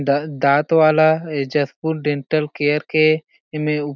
द-दाँत वाला Jashpur dental care के एमे उ--